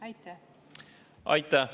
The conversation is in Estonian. Aitäh!